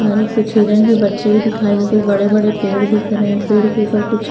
और कुछ हिरण के बच्चे भी दिखाई दे रहे कुछ बड़े बड़े पेड़ दिख रहे हैं पेड़ के ऊपर कुछ--